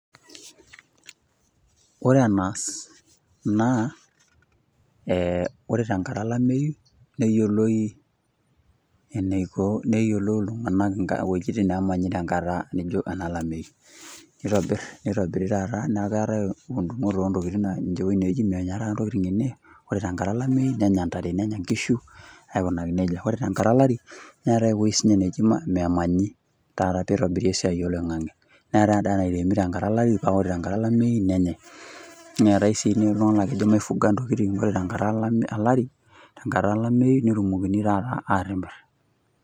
Ore enaas naa ore tenkata olamatu. neyioloi neyiolou iltunganak ewuejitin neemany tenakata Niko olameyu. neitobiri, taata neeku keetae ine menya taa ntokitin ene. ore tenkarata olameyu nenya ntare nenya nkishu. aikunaki nejia. ore tenkata olari neetae ewueji. neji memanyi. taata pee itobiri esiai. oloingange. neetae ewueji nemanyi tenkata olari. ore tenkata olamayu nenyae. neetae sii, iltunganak naa kejo maifunga ntokitin ore tenkata olari. tenkata olameyu netumokini taata atimira.